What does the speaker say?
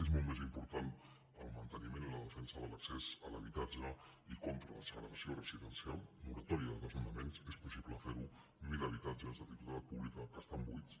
és molt més important el manteniment i la defensa de l’accés a l’habitatge i contra la segregació residencial moratòria de desnonaments és possible ferho mil habitatges de titularitat pública que estan buits